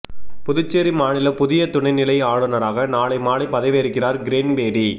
புதுச்சேரி மாநில புதிய துணைநிலை ஆளுநராக நாளை மாலை பதவியேற்கிறார் கிரண்பேடி